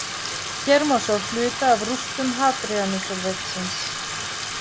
Hér má sjá hluta af rústum Hadríanusarveggsins.